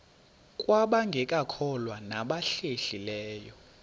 kwabangekakholwa nabahlehli leyo